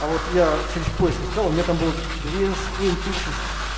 а вот я через поиск искал у меня там был две с хуем тысячи